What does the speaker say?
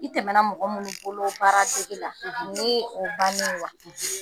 I tɛmɛ na mɔgɔ minnu bolo baara dege la ni ye o bannen ye wa?